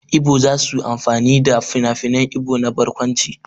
Ibo za su amfani da finafinan Ibo na barkwanci.